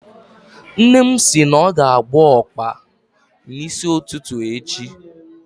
Nne m si na ọ ga-agwọ ọkpa n'isi ụtụtụ echi